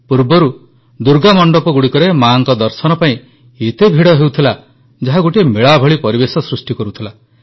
ପୂର୍ବରୁ ଦୁର୍ଗା ମଣ୍ଡପଗୁଡ଼ିକରେ ମାଙ୍କ ଦର୍ଶନ ପାଇଁ ଏତେ ଭିଡ଼ ହେଉଥିଲା ଯାହା ଗୋଟିଏ ମେଳା ଭଳି ପରିବେଶ ସୃଷ୍ଟି କରୁଥିଲା